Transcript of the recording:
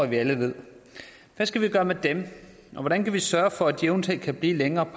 vi alle ved hvad skal vi gøre med dem og hvordan kan vi sørge for at de eventuelt kan blive længere